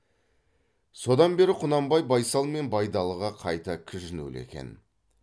содан бері құнанбай байсал мен байдалыға қайта кіжінулі екен